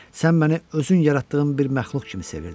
Sən məni özün yaratdığın bir məxluq kimi sevirdin.